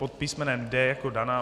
Pod písmenem D jako Dana.